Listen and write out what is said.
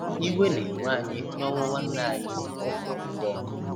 Iwe na-ewe anyị n'ọnwụ nwanne anyị - ụmụakwụkwọ.